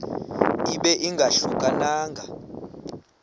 ibe ingahluka nanga